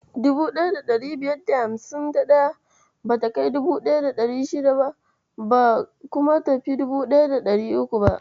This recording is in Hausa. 1551 bata kai 1600 ba, kuma tafi 1300.